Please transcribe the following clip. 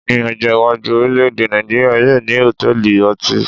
Ní ọjọ́ iwájú, orilẹ èdè Nàìjíría yóò ní hotẹẹli ọtí